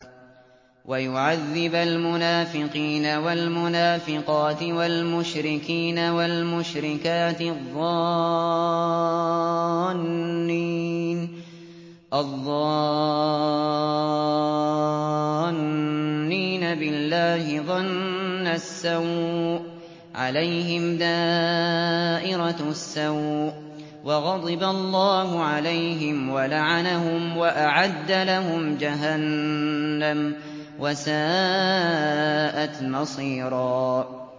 وَيُعَذِّبَ الْمُنَافِقِينَ وَالْمُنَافِقَاتِ وَالْمُشْرِكِينَ وَالْمُشْرِكَاتِ الظَّانِّينَ بِاللَّهِ ظَنَّ السَّوْءِ ۚ عَلَيْهِمْ دَائِرَةُ السَّوْءِ ۖ وَغَضِبَ اللَّهُ عَلَيْهِمْ وَلَعَنَهُمْ وَأَعَدَّ لَهُمْ جَهَنَّمَ ۖ وَسَاءَتْ مَصِيرًا